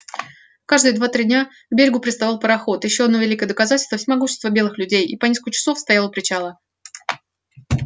каждые два три дня к берегу приставал пароход ещё одно великое доказательство всемогущества белых людей и по нескольку часов стоял у причала